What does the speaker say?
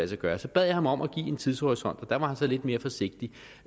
sig gøre så bad jeg ham om at give en tidshorisont og der var han så lidt mere forsigtig